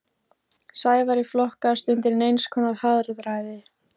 Sævari flokkast undir neins konar harðræði.